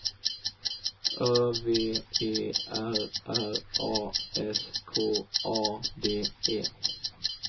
Ö V E R R A S K A D E